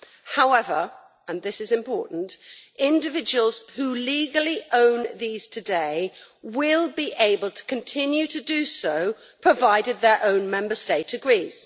However and this is important individuals who legally own these today will be able to continue to do so, provided their own Member State agrees.